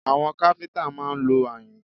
Àwọn káfíńtà máa ń lo ayùn